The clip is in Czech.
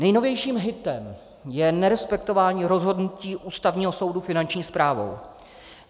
Nejnovějším hitem je nerespektování rozhodnutí Ústavního soudu Finanční správou.